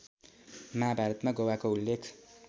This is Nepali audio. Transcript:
महाभारतमा गोवाको उल्लेख